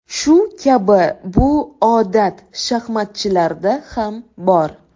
Shu kabi bu odat shaxmatchilarda ham bor.